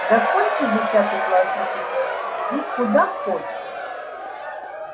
закончишь десятый класс на пятёрки иди куда хочешь